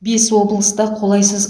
бес облыста қолайсыз